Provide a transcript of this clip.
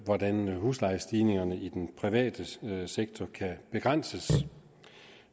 hvordan huslejestigningerne i den private sektor kan begrænses